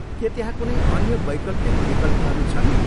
के त्यहाँ कुनै अन्य वैकल्पिक विकल्पहरू छन्?